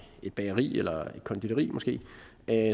et bageri eller et konditori måske